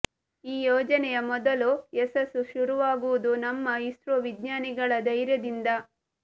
ಈ ಯೋಜನೆಯ ಮೊದಲು ಯಶಸ್ಸು ಶುರುವಾಗುವುದು ನಮ್ಮ ಇಸ್ರೋ ವಿಜ್ಞಾನಿಗಳ ಧೈರ್ಯದಿಂದ